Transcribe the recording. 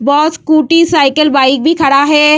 बस scooty cycle bike भी खड़ा है।